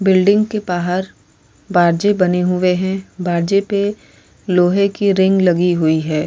Building के बाहर बारजे बने हुए हैं। बारजे पे लोहे की रिंग लगी हुवी हैं।